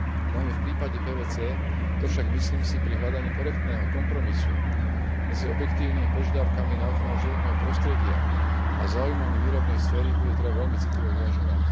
Najmä v prípade PVC to však, myslím si, pri hľadaní korektného kompromisu medzi objektívnymi požiadavkami na ochranu životného prostredia a záujmami výrobnej sféry bude treba veľmi citlivo vyvažovať.